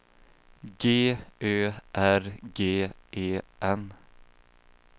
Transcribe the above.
G Ö R G E N